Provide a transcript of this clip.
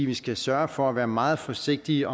vi skal sørge for at være meget forsigtige